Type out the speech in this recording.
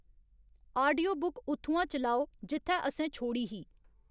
audiobook उत्थुआं चलाओ जित्थै असें छोड़ी ही